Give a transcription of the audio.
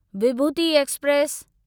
विभूती express